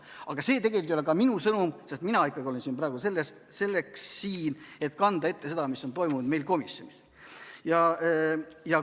Aga see tegelikult ei ole ka minu sõnum, sest mina ikkagi olen siin praegu selleks, et kanda ette seda, mis toimus komisjonis.